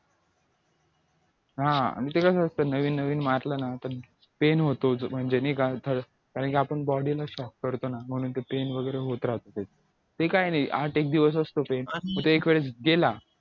हा ते कसं असतं नवीन नवीन म्हटलं ना तर pain होतो म्हणजे कारण की आपण body ला shock करतो ना नंतर pain वगैरे होत राहतो ते काय नाही आठ एक दिवस असत pain मग ते एक वेळेस केला